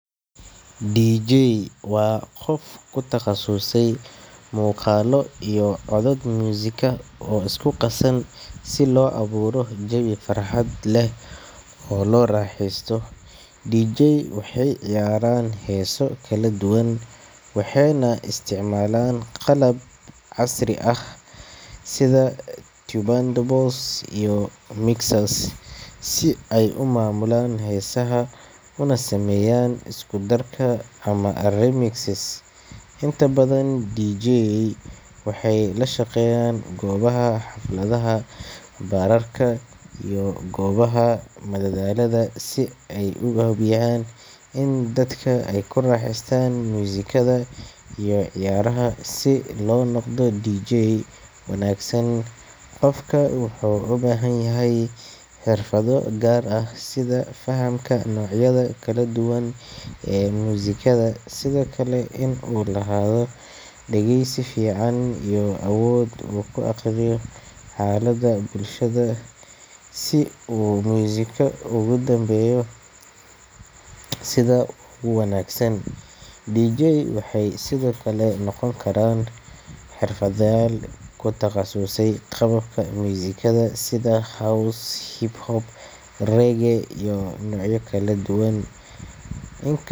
DJ waa qof ku takhasusay muuqaallo iyo codad muusiko oo isku qasan si loo abuuro jawi farxad leh oo la raaxaysto. DJ waxay ciyaaraan heeso kala duwan, waxayna isticmaalaan qalab casri ah sida turntables iyo mixers si ay u maamulaan heesaha, una sameeyaan isku darka ama remixes. Inta badan DJ waxay la shaqeeyaan goobaha xafladaha, baararka, iyo goobaha madadaalada si ay u hubiyaan in dadka ay ku raaxaystaan muusikada iyo ciyaaraha. Si loo noqdo DJ wanaagsan, qofka wuxuu u baahan yahay xirfado gaar ah, sida fahamka noocyada kala duwan ee muusikada, sidoo kale in uu lahaado dhegeysi fiican iyo awood uu ku akhriyo xaaladda bulshada si uu muusigga ugu habeeyo sida ugu wanaagsan. DJ waxay sidoo kale noqon karaan xirfadlayaal ku takhasusay qaababka muusikada sida house, hip hop, reggae iyo noocyo kale oo kala duwan. In kas.